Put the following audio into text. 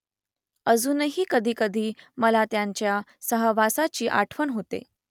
अजूनही कधी कधी मला त्यांच्या सहवासाची आठवण होते